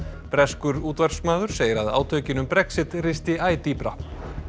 breskur útvarpsmaður segir að átökin um Brexit risti æ dýpra